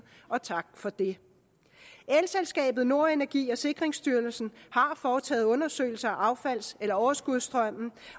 og tak for det elselskabet nord energi og sikringsstyrelsen har foretaget undersøgelser af affalds eller overskudsstrømmen